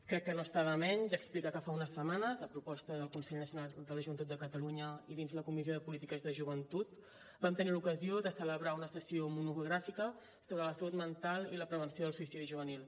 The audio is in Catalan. crec que no està de menys explicar que fa unes setmanes a proposta del consell nacional de la joventut de catalunya i dins la comissió de polítiques de joventut vam tenir l’ocasió de celebrar una sessió monogràfica sobre la salut mental i la prevenció del suïcidi juvenil